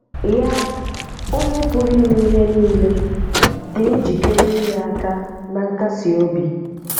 Yà, Ònye Pụ̀rụ̀ Íme Ìhè Nílé, dị̀ njíkéré ínye àkà nà nkásí òbì